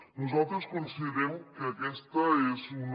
nosaltres considerem que aquesta és una